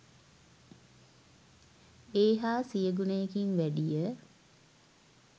ඒ හා සිය ගුණයකින් වැඩිය.